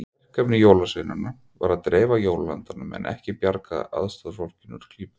Verkefni jólasveinanna var að dreifa jólaandanum en ekki bjarga aðstoðarfólki úr klípu.